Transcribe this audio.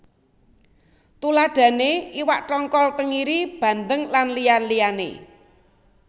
Tuladhané iwak tongkol tengiri bandeng lan liya liyané